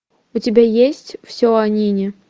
у тебя есть все о нине